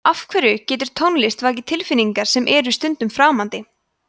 af hverju getur tónlist vakið tilfinningar sem eru stundum framandi